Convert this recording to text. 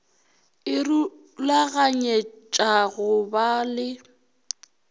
e rulaganyetša go ba le